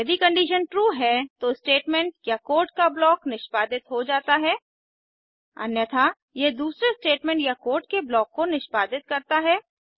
यदि condition true है तो स्टेटमेंट या कोड का ब्लॉक निष्पादित हो जाता है अन्यथा यह दूसरे स्टेटमेंट या कोड के ब्लॉक को निष्पादित करता है